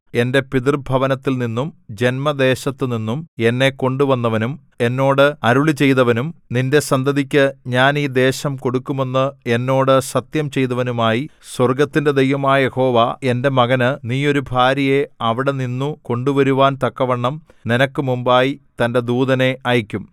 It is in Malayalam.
എന്റെ പിതൃഭവനത്തിൽ നിന്നും ജന്മദേശത്തുനിന്നും എന്നെ കൊണ്ടുവന്നവനും എന്നോട് അരുളിച്ചെയ്തവനും നിന്റെ സന്തതിക്ക് ഞാൻ ഈ ദേശം കൊടുക്കുമെന്ന് എന്നോട് സത്യം ചെയ്തവനുമായി സ്വർഗ്ഗത്തിന്റെ ദൈവമായ യഹോവ എന്റെ മകന് നീ ഒരു ഭാര്യയെ അവിടെനിന്നു കൊണ്ടുവരുവാൻതക്കവണ്ണം നിനക്ക് മുമ്പായി തന്റെ ദൂതനെ അയക്കും